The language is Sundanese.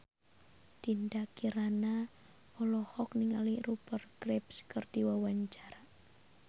Dinda Kirana olohok ningali Rupert Graves keur diwawancara